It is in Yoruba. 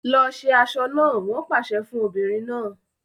Lọ ṣe aṣọ náà! Wọn pàṣẹ fún obìnrin náà.